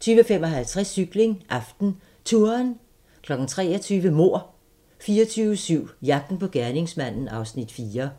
20:55: Cykling: AftenTouren 23:00: Mord 24/7 - jagten på gerningsmanden (Afs. 4)